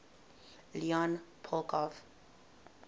leon poliakov